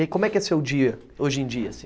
E aí, como é que é o seu dia hoje em dia?